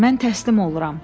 Mən təslim oluram.